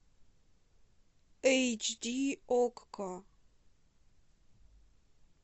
эйч ди окко